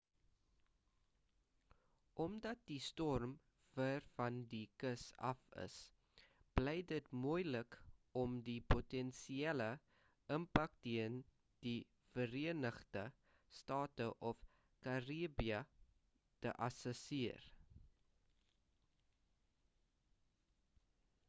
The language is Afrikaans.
omdat die storm ver van die kus af is bly dit moelik om die potensiële impak teen die verenigde state of karibië te assesseer